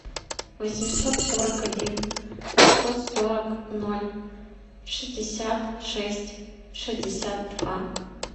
восемьсот сорок один сто сорок ноль шестьдесят шесть шестьдесят два